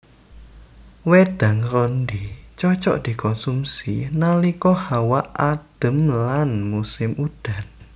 Wédang rondhé cocok dikonsumsi nalika hawa adem lan musim udan